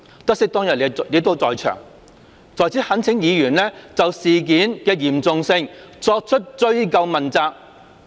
得悉當日你也在場，在此懇請議員就事件的嚴重性作出追究問責。